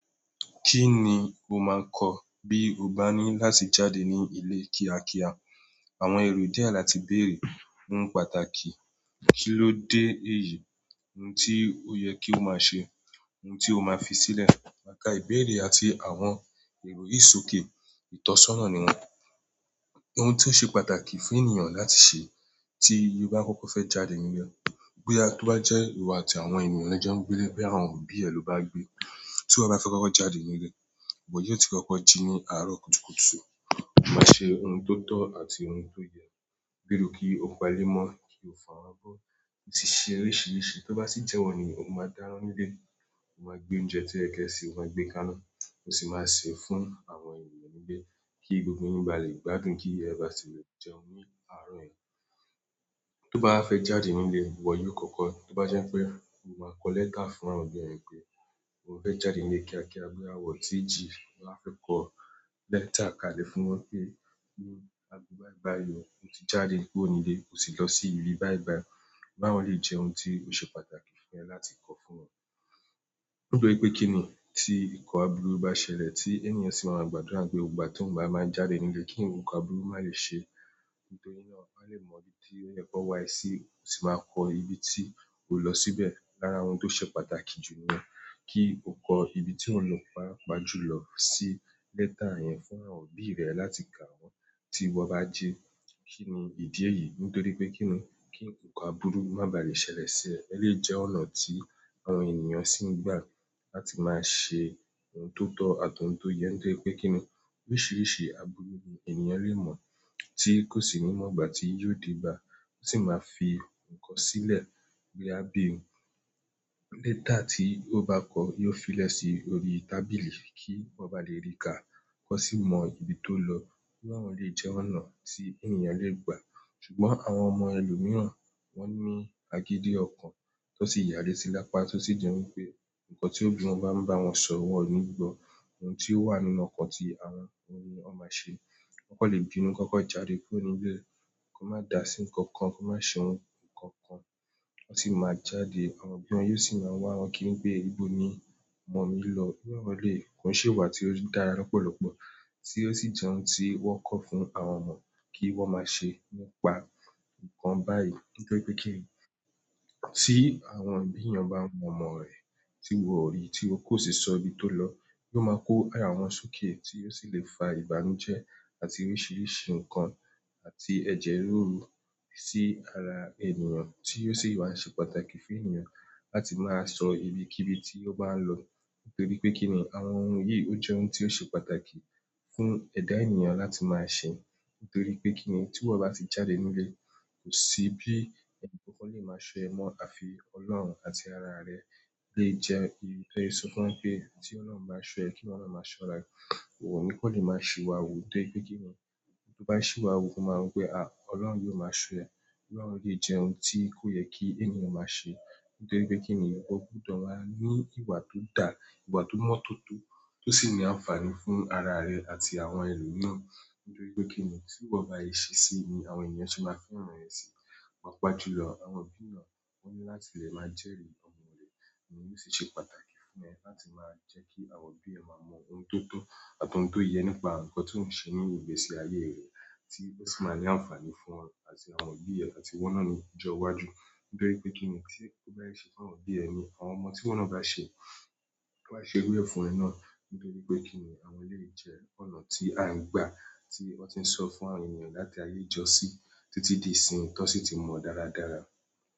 Kí ni mo máa kọ bí o bá ní láti jáde ní ilé kíákíá? Àwọn èrò díẹ̀ láti bèrè ń pàtàkì. Kí ló dé èyí? Ohun tí ó yẹ kí o máa ṣe, ohun tí o máa fi sílẹ̀. Má ka ìbéèrè àti àwọn èrò yìí sòké ìtọ́sọ́nà ni wọ́n. Ohun tí ó ṣe pàtàkì fún ènìyàn láti ṣe tí ó bá fẹ́ kọ́kọ́ jáde nínú ilé. Bóyá tó bá jẹ́ ìwọ àti àwọn ènìyàn lẹjọ ń gbé ilé, bóyá àwọn òbí ẹ ló bá gbé. Tí wọ́n bá fẹ́ kọ́kọ́ jáde nínú ilé, ìwọ yíó ti kọ́kọ́ jí ní àárọ̀ kùtùkùtù. Ó máa ṣe ohun tó tọ́ àti ohun tó yẹ, gbèrò kí ó pa ilé mọ́, kí ó fọ àwọn abó. Ó sì ṣe oríṣìíríṣìí, tó bá sì jẹ́wọ́ ni, ó máa dáná nílé. Ó máa gbé oúnjẹ tí o yẹ kí ẹ ṣè, ó máa gbé káná, ó sì máa sè é fún àwọn ènìyàn nílé kí gbogbo yín báa lè gbádùn kí ẹ bá sì le jẹun ní àárọ̀ yẹn. Tó bá wá fẹ́ jáde nínú ilé ìwọ̀ yìí o kọ́kọ́, tó bá jẹ́ pé ó máa kọ lẹ́tà fún àwọn òbí rẹ pé ó fẹ́ jáde nílé kíákíá, bóyá wọ̀n o tíì jì tó bá fẹ́ kọ lẹ́tà kalẹ̀ fún wọn wí pé bóyá bíi bai bai ó, o ti jáde kúrò ní ilé, ó sì lọ sí ibi báyìí báyìí bá àwọn eléyìí ṣeun tí ó ṣe pàtàkì láti kọ fún wọn nítorí pé kín ni tí ìkọ́ abúrú bá ṣẹlẹ̀ tí ènìyàn sì máa máa gbàdúrà wí pé gbogbo ìgbà tóun bá máa jáde nílé kí nǹkan abúrú má lè ṣe. Nítorí náà, a lè mọ ibi tí ó yẹ kó wá èsì sì máa kọ ibi tí o lọ síbẹ̀ lára ohun tó ṣe pàtàkì jù níyẹn. Kí o kọ ibi tí ò ń lọ, pàápàá jù lọ sí lẹ́tà yẹn fún àwọn òbí rẹ láti kà wọ́n tí wọ́n bá jí. Kí ni ìdí èyí? Nítorí pé kín ni kí nǹkan abúrú má bà lè ṣẹlẹ̀ sí ẹ̀. Elèyìí jẹ́ ọ̀nà tí àwọn ènìyàn sì ń gbà láti máa ṣe ohun tó tọ́ àti ohun tó yẹ́. Nítorí pé kín ni oríṣiríṣi abúrú ni ènìyàn lè mọ̀ tí kò sì ní mọ̀ ìgbà tí yóò dé bá. Ó sì máa fi nǹkan sílẹ̀ bóyá bí òun. Lẹ́tà tí ó bá kọ yóò fi lẹ́si orí tábìlì kí wọ́n bá lè rí ká, kí wọ́n sì mọ ibi tó lọ. Irú àwọn eléyìí jẹ́ ọ̀nà tí ènìyàn lè gbà. Ṣùgbọ́n àwọn ọmọ ẹlòmíràn wọ́n ní agídí ọkàn, tó sì ya alétí lápá tó sì jẹ́ wípé nǹkan tí òbí wọn bá ń bá wọn sọ, wọn ò ní gbọ. Ohun tí ó wà nínú ọkàn ti àwọn òhun ni wọ́n máa se. Wọn leè bínú kí wón kàn jáde kúrò ní inú ilé yẹn, kí wón máa dà sí nǹkankan, kí wọ́n má ṣe nǹkan kan wọ́n sì máa jáde, àwọn òbí wọn yóò sì máa wá wọn kíri wí pé, "Ibo ni ọmọ mi lọ?" irú àwọn eléyìí, kò n ṣe ìwà tí ó dára lọ́pọ̀lọ́pọ̀ tí ó sì jẹ́ ohun tí wọ́n kọ̀ fún àwọn ọmọ kí wọ́n máa ṣe. Mo pa nǹkan báyìí nítorí pé kí ni tí àwọn òbí ènìyàn bá wá ọmọ rẹ̀ tí wọn ò rí tí ó kò sì sọ ibi tó lọ, yóò máa kó àyà wọn sóké tí ò sì lè fa ìbànújẹ́ àti oríṣiríṣi nǹkan àti ẹ̀jẹ̀ rúru sí ara ènìyàn tí yóò sì wá ṣe pàtàkì fún ènìyàn láti máa sọ ibi kí ibi tí ó bá ń lọ. Nítorí pé kín ni àwọn ohun yìí ó jẹ́ ohun tí ó ṣe pàtàkì fún ẹ̀dá ènìyàn láti máa ṣe. Nítorí pé kín ni tí ìwọ́ bá ti jáde nínú ilé kò sí bí ẹnìkan kan lè máa ṣọ ẹ mọ́ àfi Ọlọ́run àti ara rẹ lè jẹ ìdí. Tó le sọ fún wọn pé tí Ọlọ́run bá n ṣọ́ ẹ, kí iwọ náà máa ṣọ́ ará ẹ. Òhun kàn le máa sì wà wù nítorípé kínní tó bá sìwàwù o máa wò pé a ọlọ́hun yíò máa ṣọ́ ẹ irú àwọn eléyìí jẹ ohun tí kò yẹ kí èèyàn máa ṣe nítorí pe kinni, o gbudo wáá ní ìwà tó dáa ìwà tó mọ́n tótó tó sì ní àǹfààní fún ara re àti àwọn ẹlòmíràn. Nítorí pé kín ni tí ìwọ bá ṣe ṣe sí ni àwọn ènìyàn ṣe máa fẹ́ ràn ẹ sí i. Pàápàá jùlọ, àwọn òbí èèyàn wọ́n ní láti lè máa jẹ́rìí ọmọ rẹ̀. Ìyẹn yóò sì ṣe pàtàkì fún ẹ láti máa jẹ́ kí àwọn òbí ẹ má mọ ohun tó tọ́ àti ohun tó yẹ nípa nǹkan tó ohùn ṣe nínú ìgbésí ayé rẹ tí ó sì máa ní àǹfààní fún ọ àti àwọn òbí ẹ àti ìwọ náà ni ọjọ́ iwájú. Nítorí pé kínni tí o bá ṣe ṣe fún àwọn òbí rẹ náà ni àwọn ọmọ tí ìwo náà bá ṣe wọ́n á ṣe irú ẹ fún iwọ náà nítorí pé kín ni àwọn lè jẹ́ ọ̀nà tí a ń gbà tí wọn ti n sọ fún àwọn ènìyàn láti ayé ijọ́ sí títí di ìsìn yìí tọ́ sì ti mọ́ dáradára.